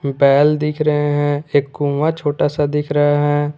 बैल दिख रहे हैं एक कुआं छोटा सा दिख रहा है।